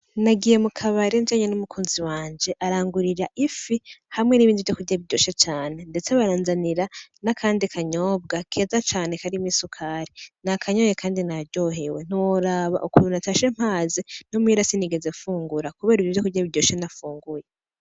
Nagiye mu kabare njanye n' umukunzi wanje arangurira ifi hamwe n' ibindi vyokurya biryoshe cane ndetse baranzanira n'akandi kanyobwa keza cane karimwo isukari nakanyoye kandi naryohewe ntiworaba ukuntu natashe mpaze no muhira sinigeze fungura kubera ibi vyokurya biryoshe nafunguye.